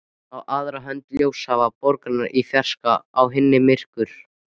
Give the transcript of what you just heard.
Á aðra hönd ljósahaf borgarinnar í fjarska, á hina myrkur.